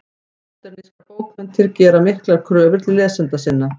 Módernískar bókmenntir gera miklar kröfur til lesenda sinna.